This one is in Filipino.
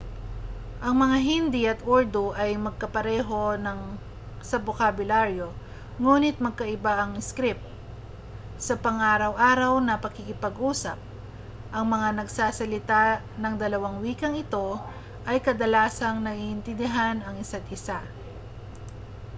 ang hindi at urdu ay magkapareho sa bokabularyo nguni't magkaiba ng iskrip sa pang-araw-araw na pakikipag-usap ang mga nagsasalita ng dalawang wikang ito ay kadalasang naiintindihan ang isa't-isa